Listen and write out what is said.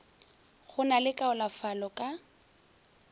go na le kaonafalo ka